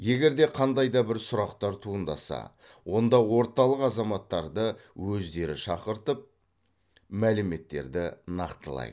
егер де қандай да бір сұрақтар туындаса онда орталық азаматтарды өздері шақыртып мәліметтерді нақтылайды